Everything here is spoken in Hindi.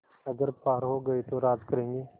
अगर पार हो गये तो राज करेंगे